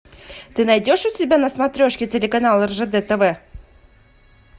ты найдешь у себя на смотрешке телеканал ржд тв